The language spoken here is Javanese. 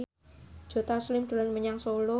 Joe Taslim dolan menyang Solo